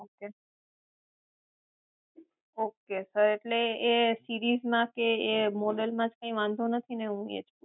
Ok sir એટલે એ સીરીઝમાં કે એ મોડેલમાં તો કઈ વાંધો નથી ને હું એજ કહું છુ